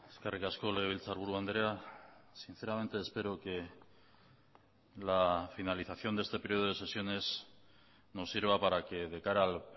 eskerrik asko legebiltzarburu andrea sinceramente espero que la finalización de este período de sesiones nos sirva para que de cara al